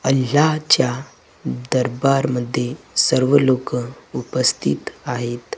आणि याच्या दरबार मध्ये सर्व लोकं उपस्थित आहेत.